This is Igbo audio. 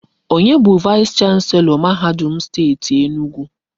Onye bụ vaịs chanselọ mahadum Steeti Enugwu?